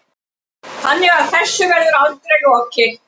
Þannig að þessu verður aldrei lokað